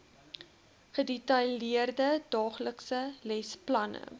gedetailleerde daaglikse lesplanne